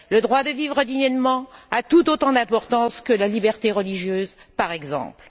Le droit de vivre dignement a tout autant d'importance que la liberté religieuse, par exemple.